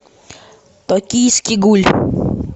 токийский гуль